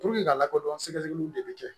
ka lakɔdɔn sɛgɛsɛgɛliw de bɛ kɛ